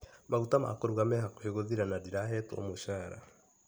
Maguta ma kũruga me hakuhĩ gũthira na ndirahtwo mũcara.